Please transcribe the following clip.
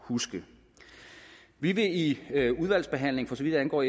huske vi vil i udvalgsbehandlingen for så vidt angår